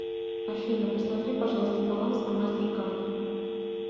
афина посмотри пожалуйста баланс на мастер кард